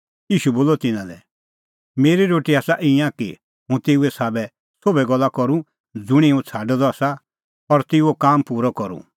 ईशू बोलअ तिन्नां लै मेरी रोटी आसा ईंयां कि हुंह तेऊए साबै सोभै गल्ला करूं ज़ुंणी हुंह छ़ाडअ द आसा और तेऊओ काम पूरअ करूं